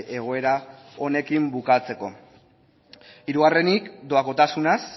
egoera honekin bukatzeko hirugarrenik doakotasunaz